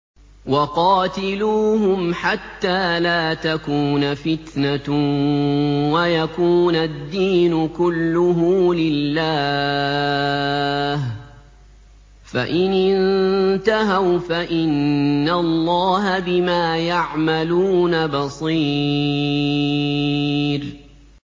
وَقَاتِلُوهُمْ حَتَّىٰ لَا تَكُونَ فِتْنَةٌ وَيَكُونَ الدِّينُ كُلُّهُ لِلَّهِ ۚ فَإِنِ انتَهَوْا فَإِنَّ اللَّهَ بِمَا يَعْمَلُونَ بَصِيرٌ